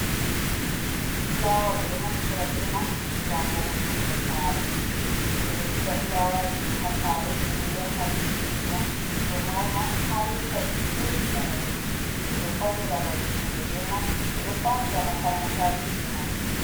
Fulawa ɓeɗo naftira be man ngam vo’utungo sare, ɓe ɗo siga fulawaji ɗo hasare ɓeɗo yarna ɗum be ndyam ɗo mauna ha yotta dedei bano ɓe yiɗi. ɓeɗo faunira babe kuɗe be man ɓeɗo faunira makarantaji be man.